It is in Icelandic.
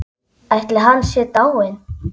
Ætli hann sé dáinn.